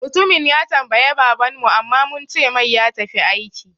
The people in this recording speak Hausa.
Mutumin ya tambaye baban mu amma muncemai ya tafi aiki